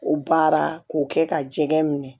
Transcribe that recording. O baara k'o kɛ ka jɛgɛ minɛ